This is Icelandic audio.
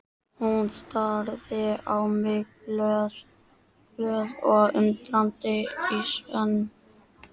Hún starði á mig glöð og undrandi í senn.